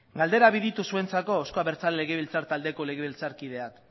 galdera bi ditut zuentzako euzko abertzale legebiltzar taldeko legebiltzarkideak